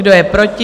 Kdo je proti?